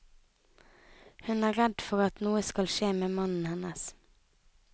Hun er redd for at noe skal skje med mannen hennes.